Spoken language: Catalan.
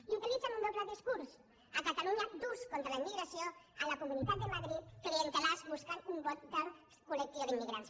i utilitzen un doble discurs a catalunya durs contra la immigració i a la comuni·tat de madrid clientelars buscant un vot del col·lectiu d’immigrants